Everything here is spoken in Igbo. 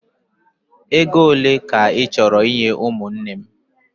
Ego ole ka ị chọrọ inye ụmụnne m?